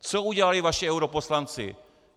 Co udělali vaši europoslanci?